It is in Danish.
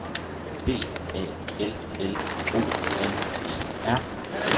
B A L L O N E R